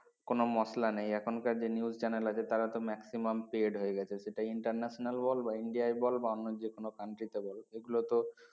কোন মসলা নেই এখন কার যে নিউজ চ্যানেল আছে তার তো maximum paid হয়ে গেছে সেটা international বল বা ইন্ডিয়া বল বা অন্য যে কোন country বল এগুলো তো